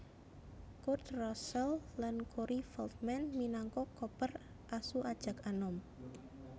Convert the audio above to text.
Kurt Russell lan Corey Feldman minangka Copper asu ajag anom